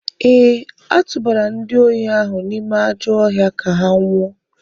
Ee, a tụbara ndị ohi ahụ n’ime ajọ ọhịa ka ha nwụọ.